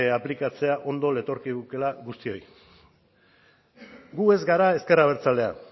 aplikatzea ondo letorkigukeela guztioi gu ez gara ezker abertzalea